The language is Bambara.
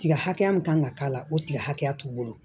Tiga hakɛya min kan ka k'a la o tigɛ hakɛya t'u bolo